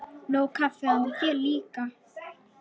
Nóg kaffi handa þér líka.